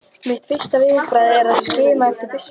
Mitt fyrsta viðbragð er að skima eftir byssunni.